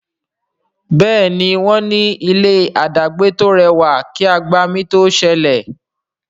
Béèni wón ní ilé adagbe to rẹwà kí agbami to sẹlẹ.